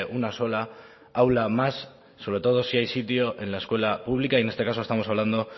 una sola aula más sobre todo si hay sitio en la escuela pública y en este caso estamos hablando